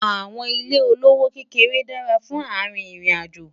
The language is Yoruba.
àwọn ilé olówó kéké dára fún àrin ìrìn àjò